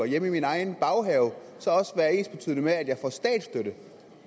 hjemme i min egen baghave så også være ensbetydende med at jeg får statsstøtte